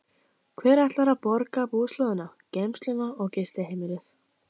Hver ætlar að borga búslóðina, geymsluna og gistiheimilið?